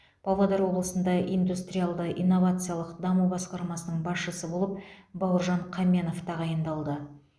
павлодар облысында индустриалды инновациялық даму басқармасының басшысы болып бауыржан қаменов тағайындалды